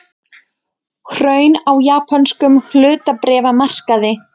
Hrun á japönskum hlutabréfamarkaði